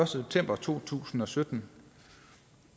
september to tusind og sytten